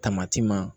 Tamati ma